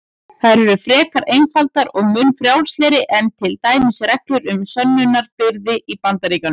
Þær eru frekar einfaldar og mun frjálslegri en til dæmis reglur um sönnunarbyrði í Bandaríkjunum.